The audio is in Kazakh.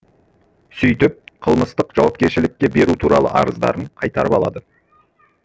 сөйтіп қылмыстық жауапкершілікке беру туралы арыздарын қайтарып алады